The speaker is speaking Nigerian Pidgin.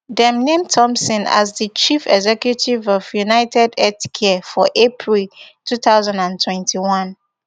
dem name thompson as di chief executive of unitedhealthcare for april two thousand and twenty-one